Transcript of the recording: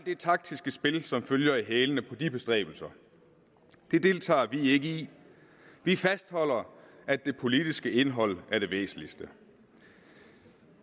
det taktiske spil der følger i hælene på de bestræbelser deltager vi ikke i vi fastholder at det politiske indhold er det væsentligste